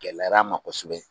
Gɛlɛyara n ma kosɛbɛ.